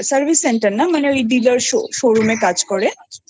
Service Center না মানে DilarShowroom কাজ করেহু হু